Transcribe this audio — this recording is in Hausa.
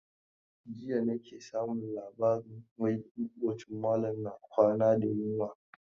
Jiya nake samun labarin wai maƙotan malam na kwana da yunwa.